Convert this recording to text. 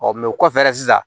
o kɔfɛ dɛ sisan